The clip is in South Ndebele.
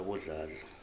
abodladla